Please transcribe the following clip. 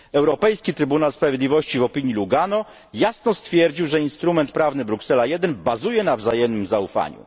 Europejski Trybunał Sprawiedliwości w opinii Lugano jasno stwierdził, że instrument prawny Bruksela 1 opiera się na wzajemnym zaufaniu.